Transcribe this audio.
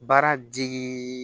Baara digi